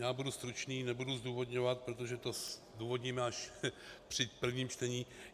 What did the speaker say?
Já budu stručný, nebudu zdůvodňovat, protože to zdůvodníme až při prvním čtení.